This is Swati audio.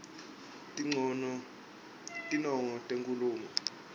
tinongo tenkhulumo